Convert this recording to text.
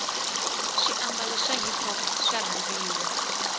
swi ababalo swa hiphop swarhandziwa